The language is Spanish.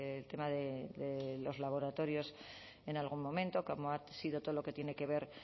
el tema de los laboratorios en algún momento como ha sido todo lo que tiene que ver